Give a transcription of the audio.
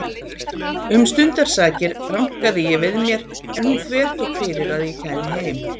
Um stundarsakir rankaði ég við mér en hún þvertók fyrir að ég kæmi heim.